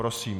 Prosím.